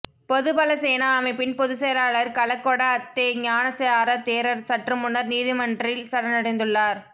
பொதுபலசேனா அமைப்பின் பொதுச் செயலாளர் கலகொட அத்தே ஞானசார தேரர் சற்றுமுன்னர் நீதிமன்றில் சரணடைந்துள்ளார்